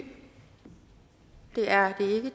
er